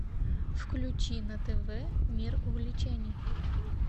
включи на тв мир увлечений